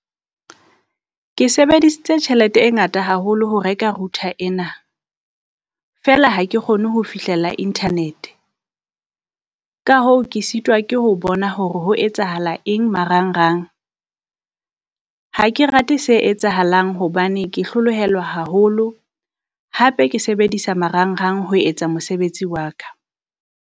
Ke sebedisitse tjhelete e ngata haholo ho reka router ena, feela ha ke kgone ho fihlela Internet. Ka hoo ke sitwa ke ho bona hore ho etsahala eng marangrang, ha ke rate se etsahalang hobane ke hlolohelwa haholo. Hape ke sebedisa marangrang ho etsa mosebetsi wa ka.